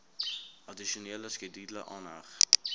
addisionele skedule aangeheg